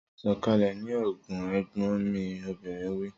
Sọ̀kalẹ̀ ní Ogun! Ẹ̀gbọ́n mi obìnrin wí.